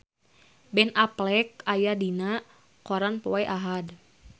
Ben Affleck aya dina koran poe Ahad